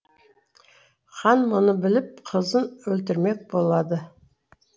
хан мұны біліп қызын өлтірмек болады